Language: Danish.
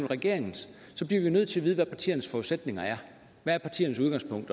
regeringens bliver vi nødt til at vide hvad partiernes forudsætninger er hvad er partiernes udgangspunkt